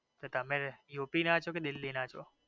તો તમે યુપી ના છો કે દિલ્હી ના છો